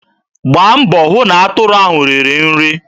Gbaa mbọ hụ na atụrụ ahụ riri nri.